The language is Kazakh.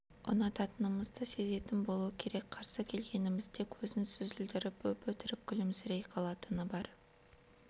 ұнататынымызды сезетін болу керек қарсы келгенімізде көзін сүзілдіріп өп-өтірік күлімсірей қалатыны бар